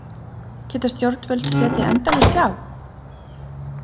Geta stjórnvöld setið endalaust hjá?